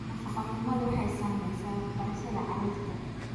Nafaqo-xumadu waxay saamaysaa waxbarashada carruurta.